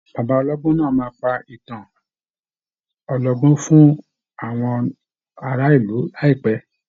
Bàbá ọlọ́gbọ́n náà á pa ìtàn ọlọ́gbọ́n fún àwọn ará ìlù láìpẹ́.